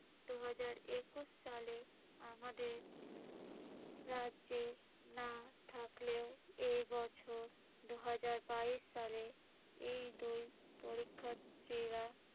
দুহাজার একুশ সালে আমাদের রাজ্যে না থাকলেও এই বছর দুহাজার বাইশ সালে এই দুই পরীক্ষার্থীরা